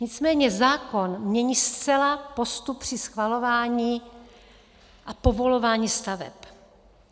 Nicméně zákon mění zcela postup při schvalování a povolování staveb.